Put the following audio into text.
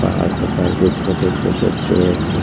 पहाड़ के पास ये छोटे-छोटे पेड़ है।